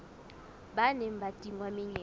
ba neng ba tingwa menyetla